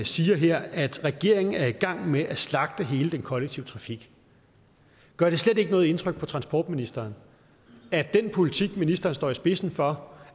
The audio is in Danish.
siger her at regeringen er i gang med at slagte hele den kollektive trafik gør det slet ikke noget indtryk på transportministeren at den politik ministeren står i spidsen for